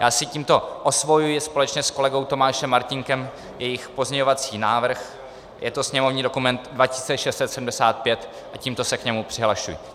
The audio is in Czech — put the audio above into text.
Já si tímto osvojuji společně s kolegou Tomášem Martínkem jejich pozměňovací návrh, je to sněmovní dokument 2675 a tímto se k němu přihlašuji.